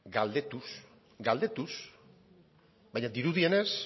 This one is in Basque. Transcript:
galdetuz galdetuz baina dirudienez